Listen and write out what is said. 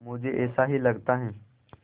मुझे ऐसा ही लगता है